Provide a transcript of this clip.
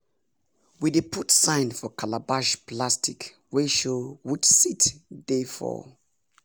we dey put sign for calabash plastic wey show which seed dey for